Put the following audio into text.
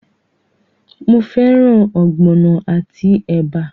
Mo fẹ́ràn ogbono àti ẹ̀bà?